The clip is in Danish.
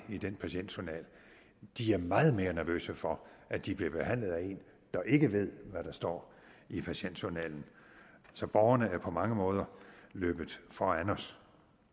i den patientjournal de er meget mere nervøse for at de bliver behandlet af en der ikke ved hvad der står i patientjournalen så borgerne er på mange måder løbet foran os